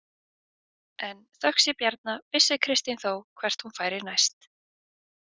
En þökk sé Bjarna vissi Kristín þó hvert hún færi næst.